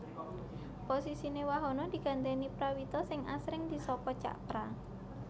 Posisiné Wahono digantèni Prawito sing asring disapa Cak Pra